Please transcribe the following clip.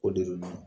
O de don